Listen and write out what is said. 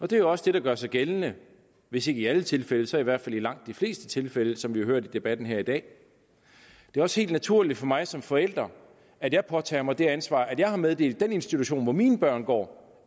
det er jo også det der gør sig gældende hvis ikke i alle tilfælde så i hvert fald i langt de fleste tilfælde som vi har hørt i debatten her i dag det er også helt naturligt for mig som forælder at jeg påtager mig det ansvar at jeg har meddelt den institution hvor mine børn går